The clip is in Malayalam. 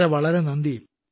വളരെ വളരെ നന്ദി